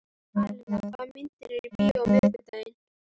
Alena, hvaða myndir eru í bíó á miðvikudaginn?